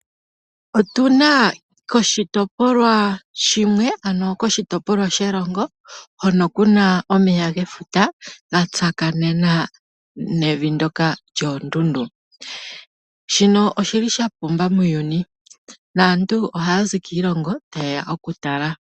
Otu na koshitopolwa shimwe ano koshitopolwa shErongo hono ku na omeya gefuta ga tsakanena nevi ndoka lyoondundu. Shino oshi li sha pumba muuyuni naantu ohaya zi kiilongo ta ye ya oku tala.